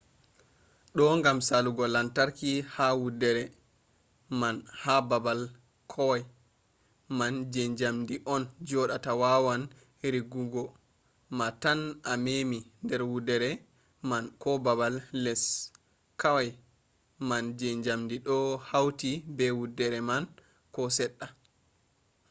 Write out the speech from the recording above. do gam salugo lantarki ha wuddere man ha babal kwai man je jamdi on jodata wawan riggugo ma to a memi der wuddere man ko babal les kwai man je jamdi to do hauti be wuddere man ko sedda